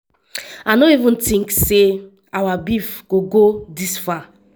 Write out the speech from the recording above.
i no ever tink say [our beef] go go dis far.